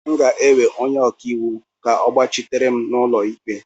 M ga-ewe onye ọka iwu ka ọ gbachitere m n'ụlọ ikpe